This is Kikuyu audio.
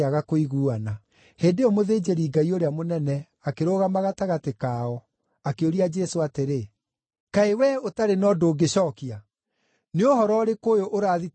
Hĩndĩ ĩyo mũthĩnjĩri-Ngai ũrĩa mũnene akĩrũgama gatagatĩ kao, akĩũria Jesũ atĩrĩ, “Kaĩ wee ũtarĩ na ũndũ ũngĩcookia? Nĩ ũhoro ũrĩkũ ũyũ ũrathitangwo naguo?”